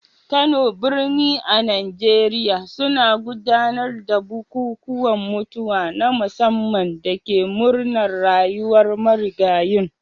Kano, birni a Najeriya, suna gudanar da bukukuwan mutuwa na musamman da ke murnar rayuwar marigayin.